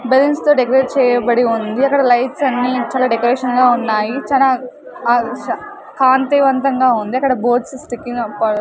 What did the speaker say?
Balloons తో decorate చేయబడి ఉంది అక్కడ లైట్స్ అన్ని చాలా డెకరేషన్ గా ఉన్నాయి చానా ష కాంతివంతంగా ఉంది అక్కడ బోర్డ్స్ స్టిచ్చింగ్ ప.